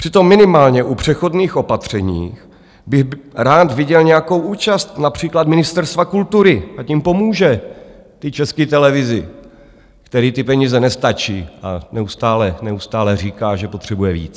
Přitom minimálně u přechodných opatření bych rád viděl nějakou účast například Ministerstva kultury, ať jim pomůže, té České televizi, které ty peníze nestačí a neustále říká, že potřebuje víc.